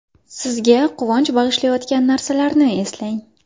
Sizga quvonch bag‘ishlaydigan narsalarni eslang.